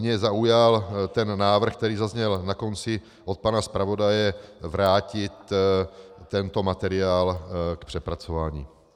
Mě zaujal ten návrh, který zazněl na konci od pana zpravodaje, vrátit tento materiál k přepracování.